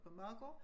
På Maegård